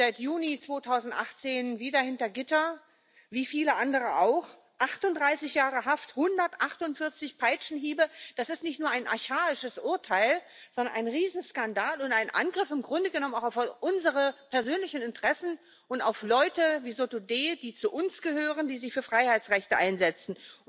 Jetzt sitzt sie seit Juni 2018 wieder hinter Gittern, wie viele andere auch. 38 Jahre Haft, 148 Peitschenhiebe das ist nicht nur ein archaisches Urteil, sondern ein Riesenskandal und im Grunde genommen auch ein Angriff auf unsere persönlichen Interessen und auf Menschen wie Nasrin Sotudeh, die zu uns gehören, die sich für Freiheitsrechte einsetzen.